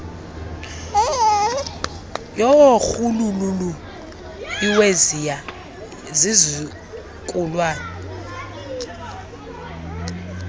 yorhuululu iweziya zizukulwana